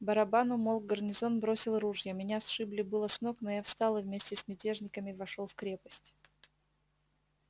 барабан умолк гарнизон бросил ружья меня сшибли было с ног но я встал и вместе с мятежниками вошёл в крепость